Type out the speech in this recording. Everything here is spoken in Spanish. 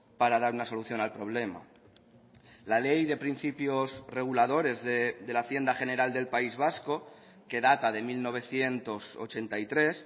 para dar una solución al problema la ley de principios reguladores de la hacienda general del país vasco que data de mil novecientos ochenta y tres